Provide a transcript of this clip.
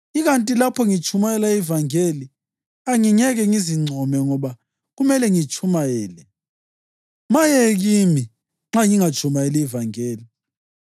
Ikanti lapho ngitshumayela ivangeli, angingeke ngizincome ngoba kumele ngitshumayele! Maye kimi nxa ngingatshumayeli ivangeli!